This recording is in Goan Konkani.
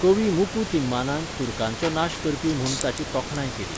कवी मुकू तिम्मानान तुर्कांचो नाश करपी म्हूण ताची तोखणाय केली.